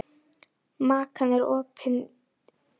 Makan, er opið í Kjöthöllinni?